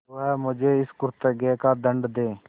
वह मुझे इस कुकृत्य का दंड दे